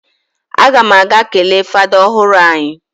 A gam aga kele fada ohuru anyi.